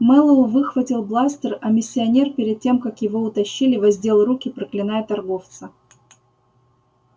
мэллоу выхватил бластер а миссионер перед тем как его утащили воздел руки проклиная торговца